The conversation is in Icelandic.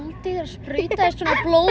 sprautaðist svona blóð